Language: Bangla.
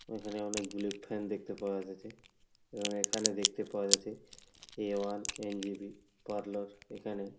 ওইখানে অনেকগুলি ফ্যান দেখতে পাওয়া যাছে এবং এইখানে দেখতে পাওয়া যাছে এ ওয়ান এন.জে.পি. পার্লার এখানে।